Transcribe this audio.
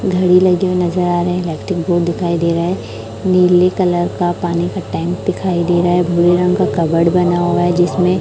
घड़ी लगी हुई नजर आ रही है इलेक्ट्रिक बोर्ड दिखाई दे रहा है नीले कलर का पानी का टैंक दिखाई दे रहा है भूरे रंग का कपबड बना हुआ है जिसमें --